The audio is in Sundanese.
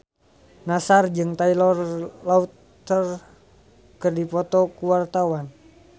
Nassar jeung Taylor Lautner keur dipoto ku wartawan